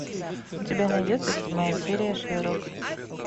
у тебя найдется седьмая серия шерлок